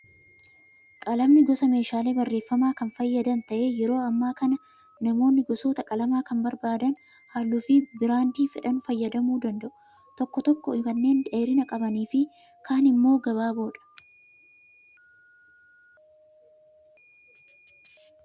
Qalamni gosa meeshaalee barreeffamaa kan fayyadan ta'ee yeroo ammaa kana namoonni gosoota qalamaa kan barbaadan halluu fi biraandii fedhan fayyadamuu danda'u. Tokko tokko kanneen dheerina qabanii fi kaan immoo gabaaboodha.